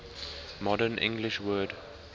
modern english word